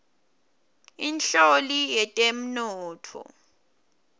inhloli yetemnotfo